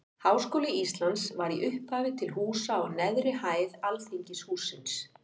Háskóli Íslands var í upphafi til húsa á neðri hæð Alþingishússins.